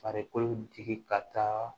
Farikolo tigi ka taa